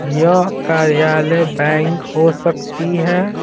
यह कार्यालय बैंक हो सकती है।